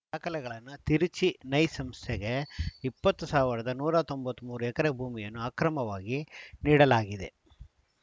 ದಾಖಲೆಗಳನ್ನ ತಿರುಚಿ ನೈಸ್‌ ಸಂಸ್ಥೆಗೆ ಇಪ್ಪತ್ತು ಸಾವಿರದ ನೂರ ತೊಂಬತ್ತ್ ಮೂರು ಎಕರೆ ಭೂಮಿಯನ್ನು ಅಕ್ರಮವಾಗಿ ನೀಡಲಾಗಿದೆ